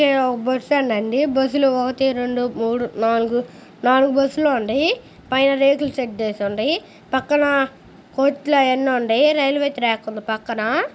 ఇదొక bus stand అండి. Bus లు ఒకటి రెండు మూడు నాలుగు నాలుగు బస్సు లు ఉన్నాయ్. పైన రేకుల షెడ్ ఏసీ ఉంది. పక్కన కొట్టులు అవ్వని ఉన్నాయ్. రైల్వే ట్రాక్ ఉంది పక్కన.